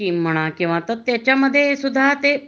scheme म्हणा त्याच्यामध्ये ते सुद्धा ते